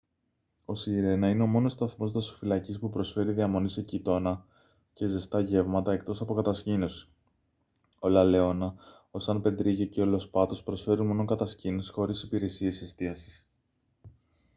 ο σιρένα είναι ο μόνος σταθμός δασοφυλακής που προσφέρει διαμονή σε κοιτώνα και ζεστά γεύματα εκτός από κατασκήνωση ο λα λεόνα ο σαν πεδρίγιο και ο λος πάτος προσφέρουν μόνο κατασκήνωση χωρίς υπηρεσίες εστίασης